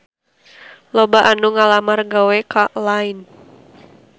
Loba anu ngalamar gawe ka Line